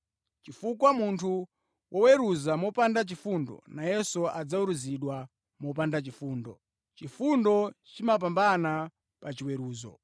chifukwa munthu woweruza mopanda chifundo, nayenso adzaweruzidwa mopanda chifundo. Chifundo chimapambana pa chiweruzo.